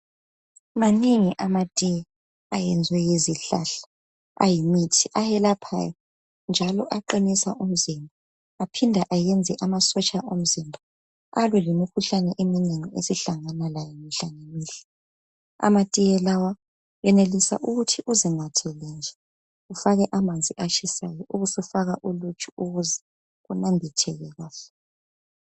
Maningi amatiye ayenze yizihlahla ayimithi ayelaphayo njalo aqinisa umzimba aphinda ayenze amasotsha omzimba alwa lemikhuhlane eminengi esihlangana layo mihla lamihla amatiye lawa uyenelisa ukuthi uzinathele nje ufake amanzi atshisayo ubusufaka oluju ukuze kunambitheke kanhle